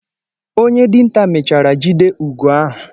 Onye dinta mechara jide Ugo ahu.